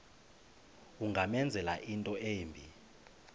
ungamenzela into embi